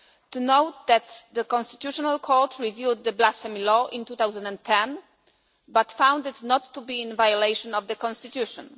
We note that the Constitutional Court reviewed the blasphemy law in 2010 but found it not to be in violation of the constitution.